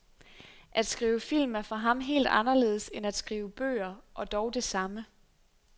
At skrive film er for ham helt anderledes end at skrive bøger, og dog det samme.